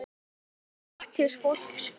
Artist fólks Hvíta.